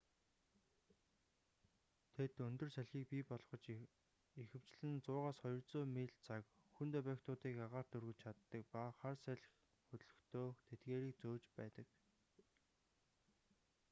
тэд өндөр салхийг бий болгож ихэвчлэн 100-200 миль/цаг хүнд объектуудыг агаарт өргөж чаддаг ба хар салхи хөдлөхдөө тэдгээрийг зөөж байдаг